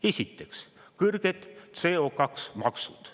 Esiteks, kõrged CO2-maksud.